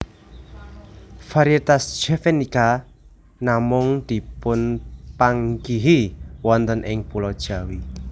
Variétas javanica namung dipunpanggihi wonten ing pulo Jawi